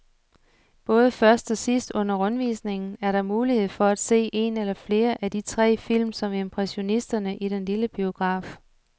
Både først og sidst under rundvisningen er der mulighed for at se en eller flere af de tre film om impressionisterne i den lille biograf.